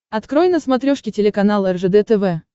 открой на смотрешке телеканал ржд тв